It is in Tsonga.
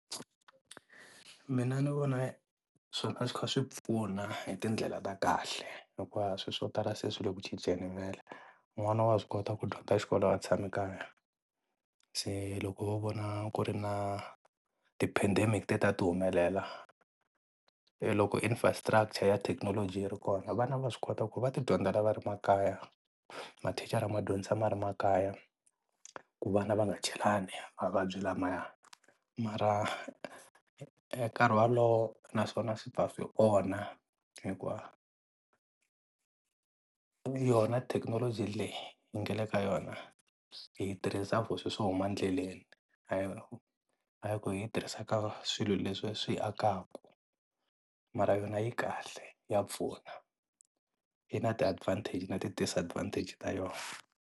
Mina ni vona swona a swi kha swi pfuna hi tindlela ta kahle loko va ha swi swo tala se swi le ku cinceni vhele, n'wana wa swi kota ku dyondza xikolo a tshame ekaya se loko wo vona ku ri na ti-pandemic leti a ti humelela loko infrastructure ya thekinoloji yi ri kona vana va swi kota ku va ti dyondzela va ri makaya, mathicara ma dyondzisa ma ri makaya ku vana va nga chelani mavabyi lamaya mara nkarhi walowo naswona swi ta swi hikuva yona thekinoloji leyi yi nga le ka yona hi yi tirhisa for swilo swo huma endleleni hayi ku hi yi tirhisa ka swilo leswi swi hi akaka, mara yona yi kahle, ya pfuna, yi na ti advantage na ti disadvantage ta yona.